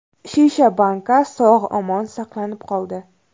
Shisha banka, sog‘-omon saqlanib qoldi.